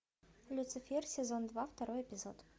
люцифер сезон два второй эпизод